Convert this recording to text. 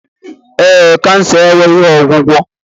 Ee, kansa enweghị ọgwụgwọ